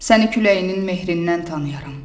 Səni küləyinin mehrindən tanıyarəm.